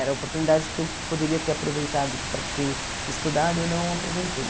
Era a oportunidade que eu poderia ter aproveitado para ter estudado e eu não aproveitei.